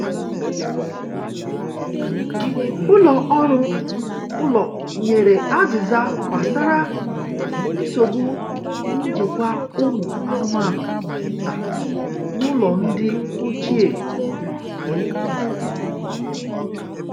Ụlọ ọrụ ụlọ nyere azịza gbasara nsogbu njikwa ụmụ anụmanụ nta n’ụlọ ndị ochie.